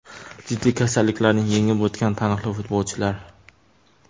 Jiddiy kasalliklarni yengib o‘tgan taniqli futbolchilar.